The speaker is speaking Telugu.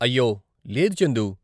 అయ్యో, లేదు చందు.